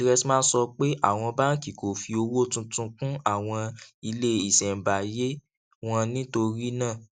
dressman sọ pé àwọn báńkì kò fi owó tuntun kún àwọn ilé ìṣèǹbáyé wọn nítorí náà